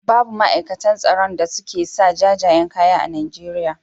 Babu ma'aikatan tsaron a suke saka jajayen kaya a Najeriya.